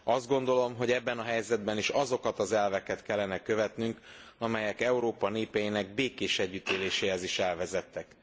Azt gondolom, hogy ebben a helyzetben is azokat az elveket kellene követnünk, amelyek Európa népeinek békés együttéléséhez is elvezettek.